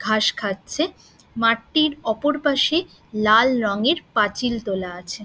ঘাস খাচ্ছে মাঠটির অপর পাশে লাল রঙের পাঁচিল তোলা আছে।